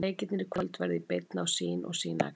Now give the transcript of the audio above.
Leikirnir í kvöld verða í beinni á Sýn og Sýn Extra.